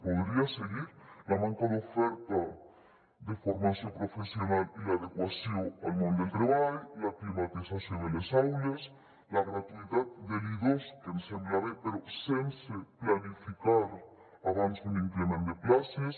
podria seguir la manca d’oferta de formació professional i l’adequació al món del treball la climatització de les aules la gratuïtat de l’i2 que ens sembla bé però sense planificar abans un increment de places